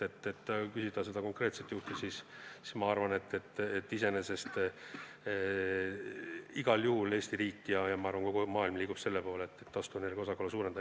Kui te küsite selle konkreetse juhu kohta, siis igal juhul Eesti riik ja ma arvan, kogu maailm liigub selle poole, et taastuvenergia osakaalu suurendada.